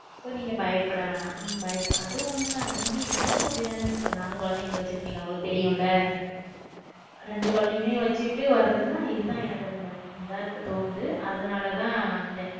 So நீங்க பயப்பட வேணாம். அம்பய~ அது ஒண்ணுதான் இங்க எனக்கும் அப்படிதான sister நானும் குழந்தைங்களை வச்சிருக்கீங்க நம்மளுக்கு தெரியும்ல ரெண்டு குழந்தைங்களையும் வச்சுட்டு வர்றதுன்னா இதுதான் எனக்கு கொஞ்சம் better ஆ இருக்க தோணுது அதனாலதான் வந்தேன்